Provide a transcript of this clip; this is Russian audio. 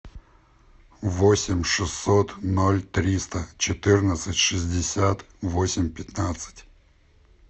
восемь шестьсот ноль триста четырнадцать шестьдесят восемь пятнадцать